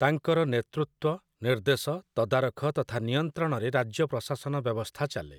ତାଙ୍କର ନେତୃତ୍ୱ, ନିର୍ଦ୍ଦେଶ, ତଦାରଖ ତଥା ନିୟନ୍ତ୍ରଣରେ ରାଜ୍ୟ ପ୍ରଶାସନ ବ୍ୟବସ୍ଥା ଚାଲେ ।